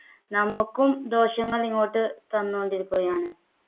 നമുക്കും ദോഷങ്ങൾ ഇങ്ങോട്ട് തന്നു കൊണ്ടിരിക്കുകയാണ്